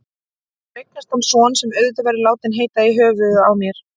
Svo eignast hann son, sem auðvitað verður látinn heita í höfuðið á mér.